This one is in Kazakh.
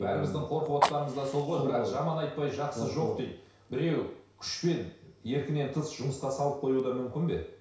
бәріміздің қорқывотқанымыз да сол ғой бірақ жаман айтпай жақсы жоқ дейді біреу күшпен еркінен тыс жұмысқа салып қоюы да мүмкін бе